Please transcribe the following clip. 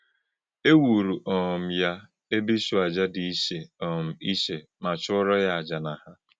E wù̄rụ̀ um yá ébè̄ ìchụ́àjà̄ dị iché um iché mà̄ chụ̄ọrọ̄ yá àjà̄ nà hà̄.